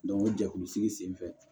o jɛkulu sigi sen fɛ